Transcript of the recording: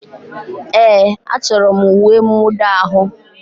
Ee, achọrọ m uwe mwụda ahụ.